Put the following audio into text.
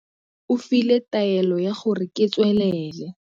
O file taelo ya gore ke tswelele.